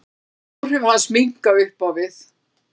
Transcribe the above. Áhrif hans minnka upp á við.